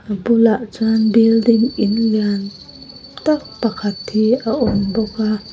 a bulah chuan building in lian tak pakhat hi a awm bawk a.